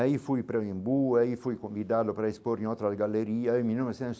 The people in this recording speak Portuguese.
Aí fui para o Imbú, aí fui convidado para expor em outra galeria em mil novecentos.